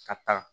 Ka taa